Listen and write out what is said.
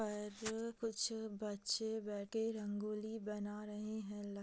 पर कुछ बच्चे बैठ के रंगोली बना रहे है लक --